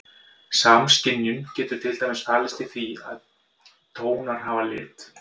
Samskynjun getur til dæmis falist í því að finnast tónar hafa lit.